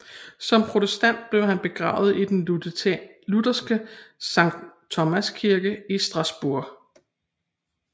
Som protestant blev han begravet i den lutherske Sankt Thomas Kirke i Strasbourg